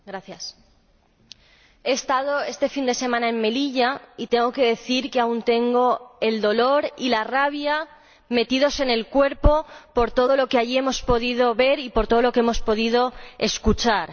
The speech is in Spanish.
Señora Presidenta, he estado este fin de semana en Melilla y tengo que decir que aún tengo el dolor y la rabia metidos en el cuerpo por todo lo que allí hemos podido ver y por todo lo que hemos podido escuchar.